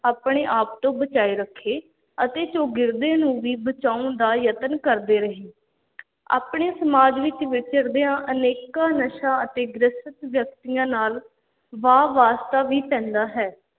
ਆਪਣੇ ਆਪ ਤੋਂ ਬਚਾਏ ਰੱਖੇ ਅਤੇ ਚੌਗਿਰਦੇ ਨੂੰ ਵੀ ਬਚਾਉਣ ਦਾ ਯਤਨ ਕਰਦੇ ਰਹੇ ਆਪਣੇ ਸਮਾਜ ਵਿੱਚ ਵਿਚਰਦਿਆਂ ਅਨੇਕਾਂ ਨਸ਼ਾ ਅਤੇ ਗ੍ਰਸਤ ਵਿਅਕਤੀਆਂ ਨਾਲ ਵਾਹ-ਵਾਸਤਾ ਵੀ ਪੈਂਦਾ ਹੈ।